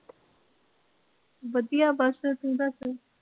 ਵਧੀਆ ਬਸ ਤੋਂ ਦੱਸ?